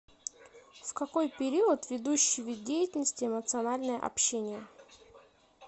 в какой период ведущий вид деятельности эмоциональное общение